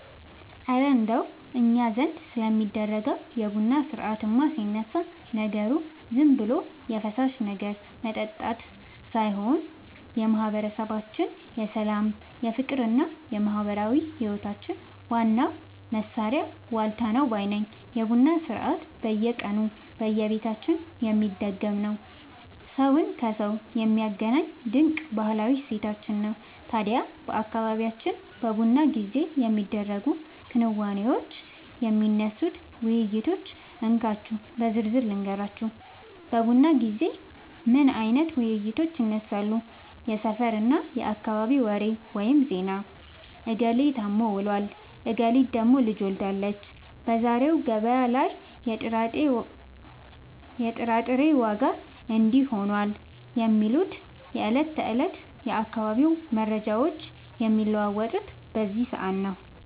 እረ እንደው እኛ ዘንድ ስለሚደረገው የቡና ሥርዓትማ ሲነሳ፣ ነገሩ ዝም ብሎ የፈሳሽ ነገር መጠጣት ብቻ ሳይሆን የማህበረሰባችን የሰላም፣ የፍቅርና የማህበራዊ ህይወታችን ዋናው ማሰሪያ ዋልታ ነው ባይ ነኝ! የቡና ሥርዓት በየቀኑ በየቤታችን የሚደገም፣ ሰውን ከሰው የሚያገናኝ ድንቅ ባህላዊ እሴታችን ነው። ታዲያ በአካባቢያችን በቡና ጊዜ የሚደረጉትን ክንዋኔዎችና የሚነሱትን ውይይቶች እንካችሁ በዝርዝር ልንገራችሁ፦ በቡና ጊዜ ምን አይነት ውይይቶች ይነሳሉ? የሰፈርና የአካባቢ ወሬ (ዜና)፦ "እገሌ ታሞ ውሏል፣ እገሊት ደግሞ ልጅ ወልዳለች፣ በዛሬው ገበያ ላይ የጥራጥሬ ዋጋ እንዲህ ሆኗል" የሚሉ የዕለት ተዕለት የአካባቢው መረጃዎች የሚለዋወጡት በዚህ ሰዓት ነው።